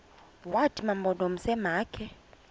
wathi mampondomise makhe